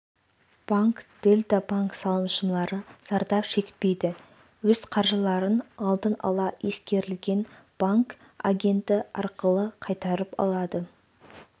банк дельта банк салымшылары зардап шекпейді өз қаржыларын алдын ала ескерілген банк-агенті арқылы қайтарып алады